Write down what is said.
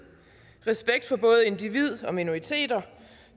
respekt for både individ og minoriteter